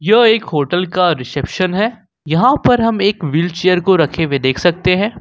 यह एक होटल का रिसेप्शन है यहां पर हम एक व्हीलचेयर को रखे हुए देख सकते हैं।